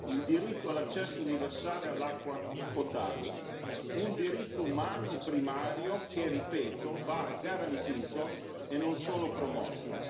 il diritto all'accesso universale all'acqua potabile, un diritto umano primario che, ripeto, va garantito e non solo promosso.